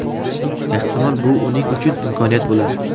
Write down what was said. Ehtimol, bu uning uchun imkoniyat bo‘lar.